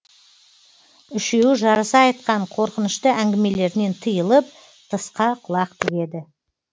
үшеуі жарыса айтқан қорқынышты әңгімелерінен тыйылып тысқа құлақ тігеді